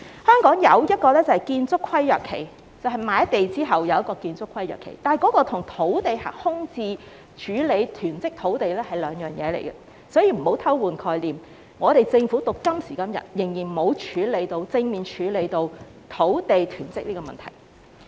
香港則只設建築規約限期，即買地後有建築規約限期，但這與處理土地空置及囤積土地是兩回事，所以不要偷換概念，政府直至今時今日仍沒有正面處理土地囤積的問題。